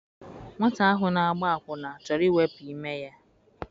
Nwata ahụ na-agba akwụna chọrọ iwepụ ime ya.